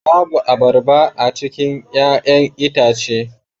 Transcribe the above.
Babu abarba a cikin 'ya'yan itace